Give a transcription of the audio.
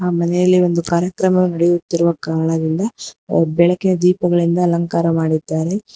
ಆ ಮನೆಯಲ್ಲಿ ಒಂದು ಕಾರ್ಯಕ್ರಮ ನೆಡೆಯುತ್ತಿರುವ ಕಾರಣದಿಂದ ಆ ಬೆಳಕಿನ ದೀಪಗಳಿಂದ ಅಲಂಕಾರ ಮಾಡಿದ್ದಾರೆ.